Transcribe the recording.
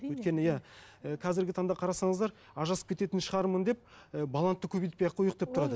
өйткені иә і қазіргі таңда қарасаңыздар ажырасып кететін шығармын деп і баланы да көбейтпей ақ қояйық деп тұрады